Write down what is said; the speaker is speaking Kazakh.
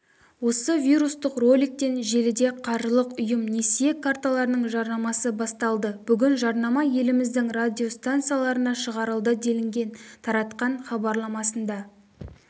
осы вирустық роликтен желіде қаржылық ұйым несие карталарының жарнамасы басталды бүгін жарнама еліміздің радиостанцияларына шығарылды делінген таратқан хабарламасында